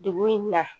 Dugu in na